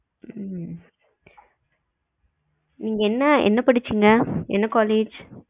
ஹம் நீங்க என்ன என்ன படுச்சிங்க என்ன college